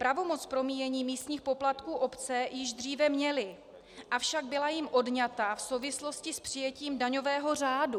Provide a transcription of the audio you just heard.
Pravomoc promíjení místních poplatků obce již dříve měly, avšak byla jim odňata v souvislosti s přijetím daňového řádu.